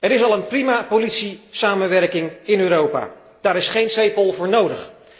Er is al een prima politiesamenwerking in Europa, daar is geen CEPOL voor nodig.